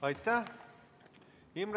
Aitäh!